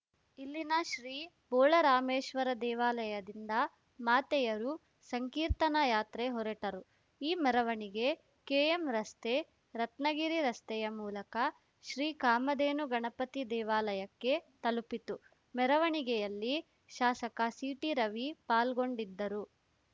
ಇಲ್ಲಿನ ಶ್ರೀ ಬೋಳರಾಮೇಶ್ವರ ದೇವಾಲಯದಿಂದ ಮಾತೆಯರು ಸಂಕೀರ್ತನಾ ಯಾತ್ರೆ ಹೊರಟರು ಈ ಮೆರವಣಿಗೆ ಕೆಎಂರಸ್ತೆ ರತ್ನಗಿರಿ ರಸ್ತೆಯ ಮೂಲಕ ಶ್ರೀ ಕಾಮಧೇನು ಗಣಪತಿ ದೇವಾಲಯಕ್ಕೆ ತಲುಪಿತು ಮೆರವಣಿಗೆಯಲ್ಲಿ ಶಾಸಕ ಸಿಟಿರವಿ ಪಾಲ್ಗೊಂಡಿದ್ದರು